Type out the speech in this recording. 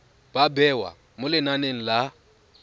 ba bewa mo lenaneng la